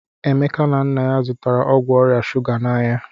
Emeka na nna ya zụtara ọgwụ ọrịa shụga n'ahịa.